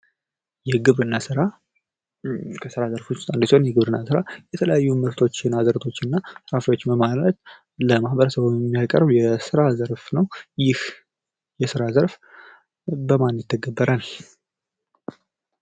የግብርና ስራ ከስራ ዘርፎች ዉስጥ አንዱ ሲሆን የግብርና ስራ የተለያዩ ምርቶችን አዝዕርቶችን በማምረት ለማህበረሰቡ የሚያቀርብ የስራ ዘርፍ ነዉ። ይህ በማን ይተገበራል?